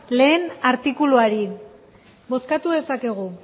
lehen artikuluari bozkatu dezakegu